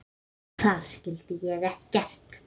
Þar skildi ég ekkert.